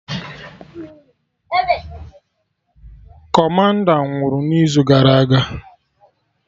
Kọmanda nwụrụ n'izu gara aga